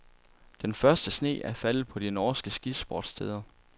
Den første sne er faldet på de norske skisportssteder.